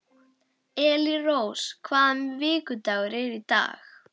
Elírós, hvaða vikudagur er í dag?